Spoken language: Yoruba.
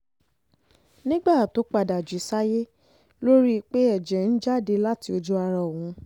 nígbà tó padà um jí sáyé ló rí i pé ẹ̀jẹ̀ ń jáde um láti ojú ara òun